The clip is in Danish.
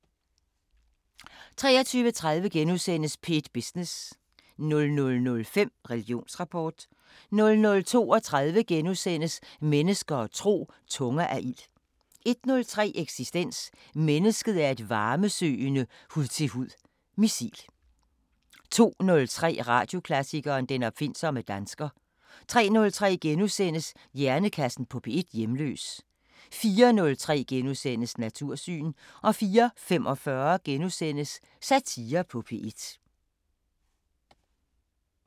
23:30: P1 Business * 00:05: Religionsrapport 00:32: Mennesker og tro: Tunger af ild * 01:03: Eksistens: Mennesket er et varmesøgende hud-til-hud missil 02:03: Radioklassikeren: Den opfindsomme dansker 03:03: Hjernekassen på P1: Hjemløs * 04:03: Natursyn * 04:45: Satire på P1 *